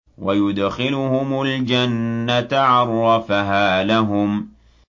وَيُدْخِلُهُمُ الْجَنَّةَ عَرَّفَهَا لَهُمْ